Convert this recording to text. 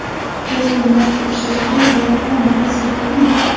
Yoki narx oshishiga biror omil ta’sir qildimi?